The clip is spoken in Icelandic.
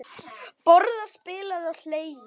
Borðað, spilað og hlegið.